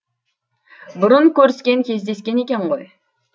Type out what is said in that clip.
бұрын көріскен кездескен екен ғой